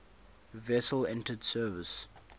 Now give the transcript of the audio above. vessel entered service